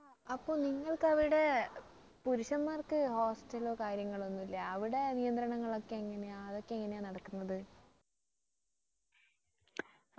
അപ്പൊ നിങ്ങൾക്ക് അവിടെ പുരുഷന്മാർക്ക് hostel ലോ കാര്യങ്ങളോ ഒന്നും ഇല്ലേ അവിടെ നിയന്ത്രണങ്ങളൊക്ക എങ്ങനാ അതൊക്കെ എങ്ങനാ നടക്കുന്നത്